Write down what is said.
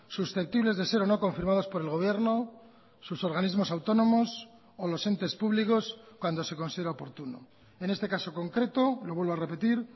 susceptibles de ser o no confirmados por el gobierno sus organismos autónomos o los entes públicos cuando se considera oportuno en este caso concreto lo vuelvo a repetir